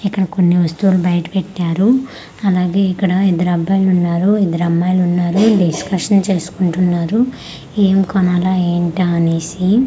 ఇక్కడ కొన్ని వస్తువులు బైట పెట్టారు అలాగే ఇక్కడ ఇద్దరు అబ్బయిలు ఉన్నారు ఇద్దరు అమ్మాయిలు ఉన్నారు డిస్కషన్ చేసుకుంటున్నారు ఏం కొనాలా ఏంటా అనేసి.